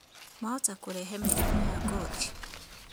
Mahota kũrehe mĩrimũ ya ngothi